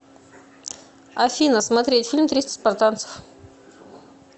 афина смотреть фильм триста спартанцев